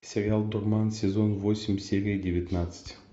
сериал дурман сезон восемь серия девятнадцать